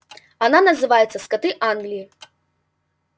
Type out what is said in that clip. она называется скоты англии